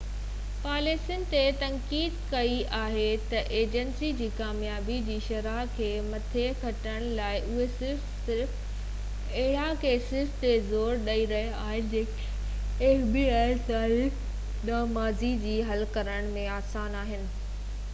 تاريخ دانن ماضي جي fbi پاليسين تي تنقيد ڪئي آهي ته اجنسي جي ڪاميابي جي شرح کي مٿي کڻڻ لاءِ اهي صرف صرف اهڙن ڪيسن تي زور ڏئي رهيا آهن جيڪي حل ڪرڻ ۾ آسان آهن خاص طور تي چوري ٿيل ڪارن وارا ڪيس